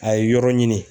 A ye yɔrɔ ɲini